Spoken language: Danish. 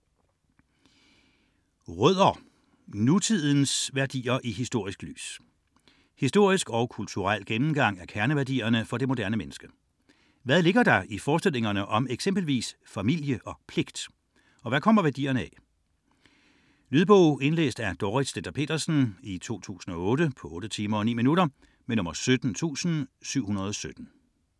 96 Rødder: nutidens værdier i historisk lys Historisk og kulturel gennemgang af kerneværdierne for det moderne menneske. Hvad ligger der i forestillingerne om eksempelvis "familie" og "pligt" - og hvad kommer værdierne af? Lydbog 17717 Indlæst af Dorrit Stender-Pedersen, 2008. Spilletid: 8 timer, 9 minutter.